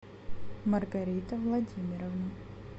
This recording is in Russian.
маргарита владимировна